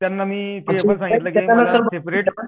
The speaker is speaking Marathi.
त्यांना मी ते पण सागितलं कि मला सेपरेट